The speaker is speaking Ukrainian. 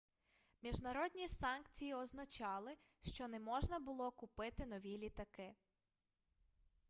міжнародні санкції означали що не можна було купити нові літаки